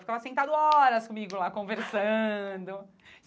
Ficava sentado horas comigo lá, conversando.